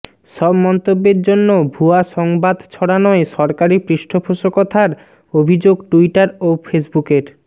সব মন্তব্যের জন্য ভুয়া সংবাদ ছড়ানোয় সরকারি পৃষ্ঠপোষকতার অভিযোগ টুইটার ও ফেসবুকের